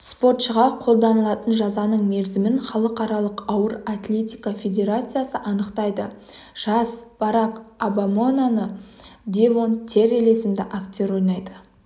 спортшыға қолданылатын жазаның мерзімін халықаралық ауыр атлетика федерациясы анықтайды жас барак обаманыдевон террелл есімді актер ойнайды